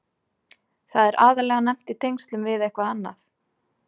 Það er aðallega nefnt í tengslum við eitthvað annað.